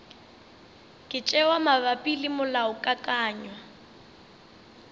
ka tšewa mabapi le molaokakanywa